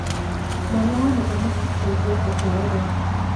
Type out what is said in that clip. Mwana wa mũthamaki kũigwa ũgwo rĩ